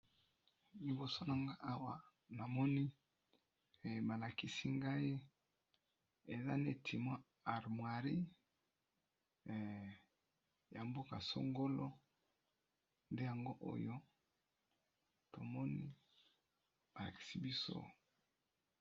Liboso na nga awa na moni malakisi ngai eza netimwa armwiri ya mboka songolo, nde yango oyo tomoni balakisi biso.